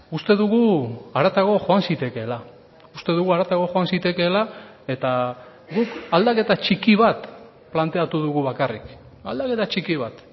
uste dugu haratago joan zitekeela uste dugu haratago joan zitekeela eta guk aldaketa txiki bat planteatu dugu bakarrik aldaketa txiki bat